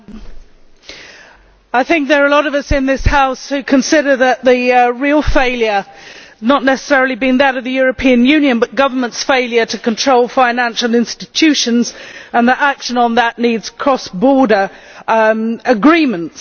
Mr President, I think there are a lot of us in this House who consider that the real failure has not necessarily been that of the European Union, but governments' failure to control financial institutions, and that action on that needs cross border agreements.